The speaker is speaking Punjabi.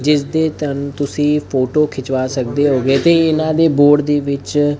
ਜਿਸ ਦੇ ਤਨ ਤੁਸੀਂ ਫੋਟੋ ਖਿਚਵਾ ਸਕਦੇ ਹੋਗੇ ਤੇ ਇਹਨਾਂ ਦੇ ਬੋਰਡ ਦੇ ਵਿੱਚ--